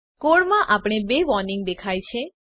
કોડમાં આપણને ૨ વોર્નીંગ દેખાય છે